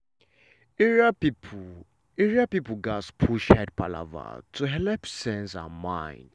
area people area people gats push head palava to helep sense and mind.